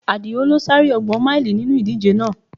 Adio lo sá eré ọgbọn máílì nínú ìdíje náà